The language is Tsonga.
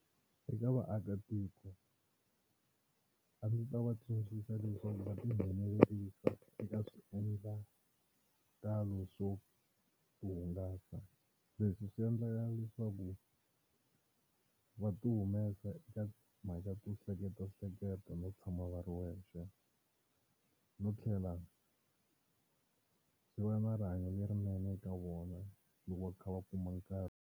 Eka vaakatiko a ndzi ta va tsundzuxa leswaku va tinghenelerisa eka swiendlakalo swo hungasa leswi swi endlaka leswaku va ti humesa eka timhaka to hleketahleketa no tshama va ri wexe no tlhela swi va na rihanyo lerinene eka vona loko va kha va kuma nkarhi.